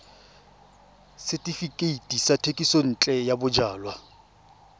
setefikeiti sa thekisontle ya bojalwa